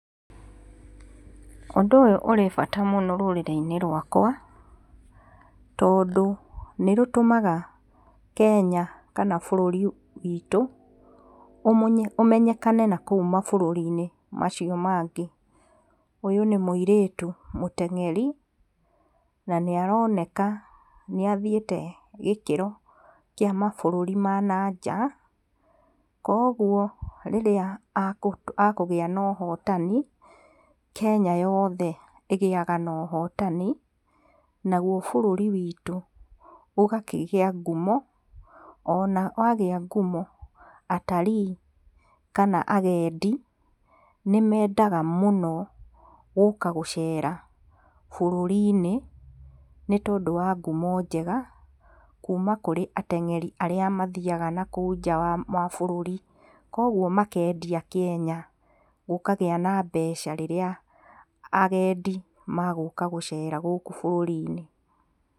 Ũndũ ũyũ ũrĩ bata mũno rũrĩrĩ-inĩ rwakwa tondũ ni rũtũmaga Kenya kana bũrũri witũ ũmenyekane nakũu mabũrũri-inĩ macio mangĩ. Ũyũ nĩ mũirĩtu mũteng'eri na nĩ aroneka nĩ athiĩte gikĩro kia mabũrũri ma nanja koguo rĩrĩa akũgĩa na ũhotani Kenya yothe ĩgĩaga na ũhotani naguo bũrũri witũ ũgakigĩa ngumo ona wagia ngumo, atarii kana agendi nĩ mendaga mũnoi gũka gũcera bũrũri-inĩ nĩ tondũ wa ngumo njega kuma kũrĩa arĩa mathiaga nakũu nja wa bũrũri. Koguo makendia Kenya gũkagĩa na mbeca rĩrĩa agendi magũka gũcera gũku bũruri-inĩ.